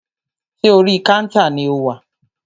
Ṣé orí kántà ni o wà?